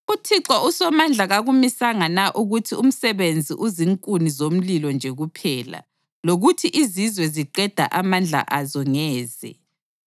UThixo uSomandla kakumisanga na ukuthi umsebenzi uzinkuni zomlilo nje kuphela, lokuthi izizwe ziqeda amandla azo ngeze?